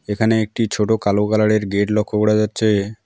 এখানে একটি ছোট কালো কালারের গেট লক্ষ করা যাচ্ছে।